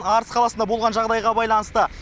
арыс қаласында болған жағдайға байланысты